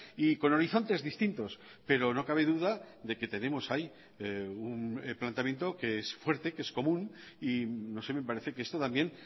y con horizontes distintos pero no cabe duda de que tenemos ahí un planteamiento que es fuerte que es común y no sé me parece que esto también